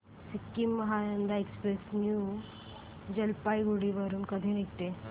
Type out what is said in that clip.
Sikkim Mahananda express new Jalpaiguri वरून कधी निघते